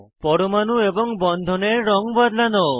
পরমাণু এবং বন্ধনের রঙ বদলানো